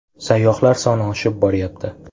Sayyohlar soni oshib borayapti.